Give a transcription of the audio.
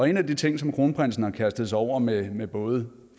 i en af de ting som kronprinsen har kastet sig over med med både